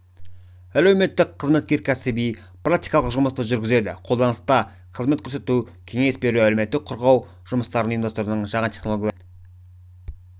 әлеуметтік қызметкер кәсіби практикалық жұмысты жүргізеді қолданыста қызмет көрсету кеңес беру әлеуметтік қорғау жұмыстарын ұйымдастырудың жаңа технологияларымен